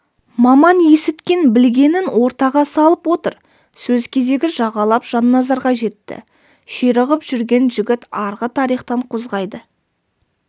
маман есіткен-білгенін ортаға салып отыр сөз кезегі жағалап жанназарға жетті ширығып жүрген жігіт арғы тарихтан қозғайды